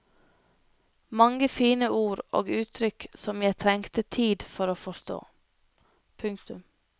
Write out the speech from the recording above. Mange fine ord og uttrykk som jeg trengte tid for å forstå. punktum